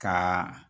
Ka